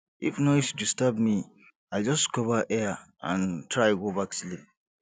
if noise disturb me i just cover ear and try go back sleep